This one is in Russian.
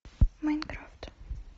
майнкрафт